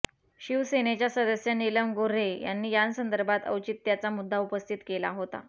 शिवसेनेच्या सदस्य नीलम गोर्हे यांनी यासंदर्भात औचित्याचा मुद्दा उपस्थित केला होता